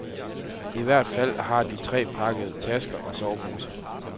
I hvert fald har de tre pakket tasker og soveposer.